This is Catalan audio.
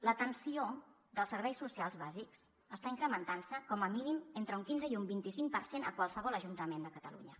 l’atenció dels serveis socials bàsics està incrementant se com a mínim entre un quinze i un vint cinc per cent a qualsevol ajuntament de catalunya